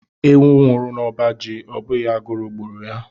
Ewu nwụrụ n'ọba ji abụghị agụrụ gburu ya.